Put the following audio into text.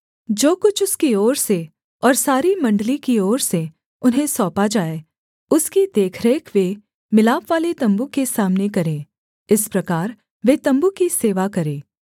जो कुछ उसकी ओर से और सारी मण्डली की ओर से उन्हें सौंपा जाए उसकी देखरेख वे मिलापवाले तम्बू के सामने करें इस प्रकार वे तम्बू की सेवा करें